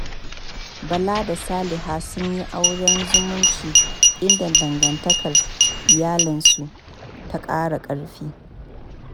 Bala da Saliha sun yi auren zumunci, inda dangantakar iyalansu ta ƙara ƙarfi.